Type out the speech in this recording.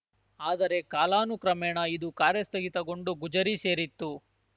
ಆದರೆ ಕಾಲಾನುಕ್ರಮೇಣ ಇದು ಕಾರ್ಯಸ್ಥಗಿತಗೊಂಡು ಗುಜರಿ ಸೇರಿತ್ತು